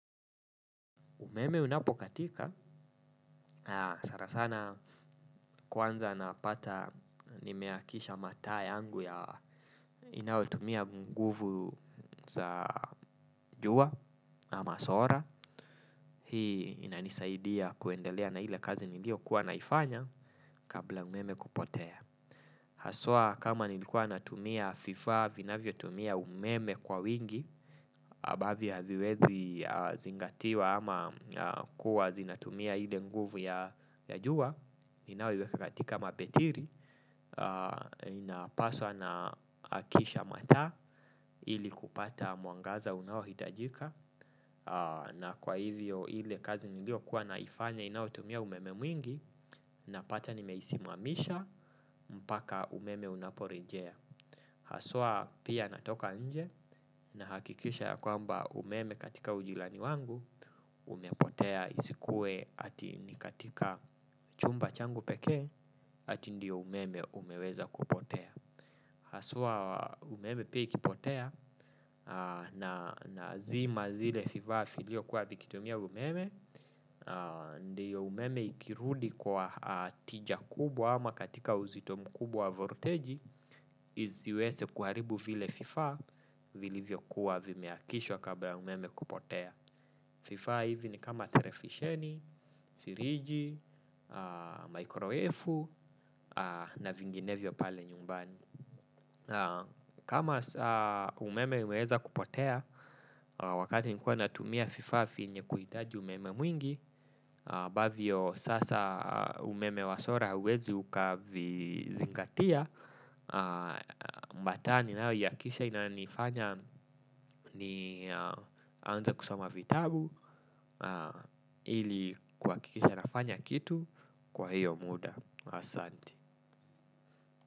Umeme unapokatika, sana sana kwanza napata nimeakisha mataa yangu ya inaotumia nguvu za jua na masora. Hii inanisaidia kuendelea na ile kazi niliokuwa kuwa naifanya kabla umeme kupotea. Haswa kama nilikuwa natumia fifa, vinavyotumia umeme kwa wingi, ambavyo haviwezi zingatiwa ama kuwa zinatumia ile nguvu ya jua. Inaoiweka katika mabetiri, inapaswa naakisha mataa ili kupata mwangaza unaohitajika. Na kwa hivyo ile kazi niliokuwa naifanya inaotumia umeme mwingi napata nimeisimamisha mpaka umeme unaporejea. Haswa pia natoka nje na hakikisha ya kwamba umeme katika ujirani wangu umepotea isikuwe ati ni katika chumba changu peke ati ndio umeme umeweza kupotea. Haswa umeme pia ikipotea nazima zile fivaa viliokuwa vikitumia umeme. Ndiyo umeme ikirudi kwa tija kubwa ama katika uzito mkubwa wa volteji. Isiwese kuharibu vile vifaa vilivyokuwa vimeakishwa kabla ya umeme kupotea vifaa hivi ni kama telefisheni, firiji, microefu na vinginevyo pale nyumbani. Kama umeme umeweza kupotea wakati nilikuwa natumia fifaa vyenye kuhitaji umeme mwingi ambavyo sasa umeme wa sola hauwezi ukavizingatia. Mataa ninayoiakisha inanifanya ni anze kusoma vitabu. Ili kuhakisha nafanya kitu kwa hiyo muda. Asanti.